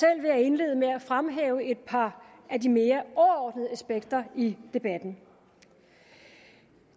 jeg indlede med at fremhæve et par af de mere overordnede aspekter i debatten